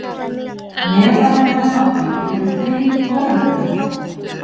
Meðal þeirra látnu eru þrír lögreglumenn